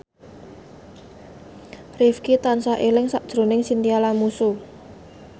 Rifqi tansah eling sakjroning Chintya Lamusu